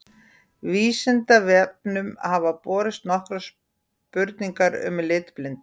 Vísindavefnum hafa borist nokkrar spurningar um litblindu.